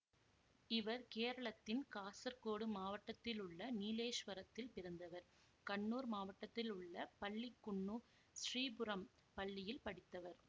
இவர் கேரளத்தின் காசர்கோடு மாவட்டத்தில் உள்ள நீலேஸ்வரத்தில் பிறந்தவர் கண்ணூர் மாவட்டத்தில் உள்ள பள்ளிக்குன்னு ஸ்ரீபுரம் பள்ளியில் படித்தவர்